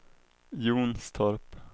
Jonstorp